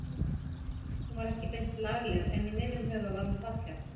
Hún var ekki beint lagleg en í mínum huga var hún falleg.